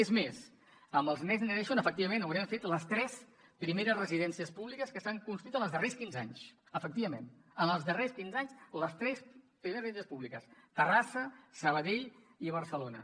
és més amb els next generation efectivament haurem fet les tres primeres residències públiques que s’han construït en els darrers quinze anys efectivament en els darrers quinze anys les tres primeres residències públiques terrassa sabadell i barcelona